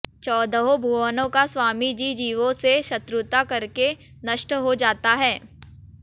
चौदहों भुवनों का स्वामी भी जीवों से शत्रुता करके नष्ट हो जाता है